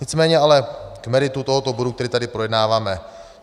Nicméně ale k meritu tohoto bodu, který tady projednáváme.